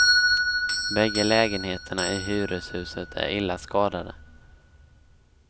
Bägge lägenheterna i hyreshuset är illa skadade.